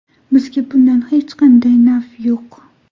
Bizga bundan hech qanday naf yo‘q.